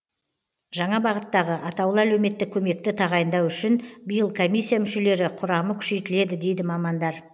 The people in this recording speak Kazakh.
жаңа бағыттағы атаулы әлеуметтік көмекті тағайындау үшін биыл комиссия мүшелері құрамы күшейтіледі дейді мамандар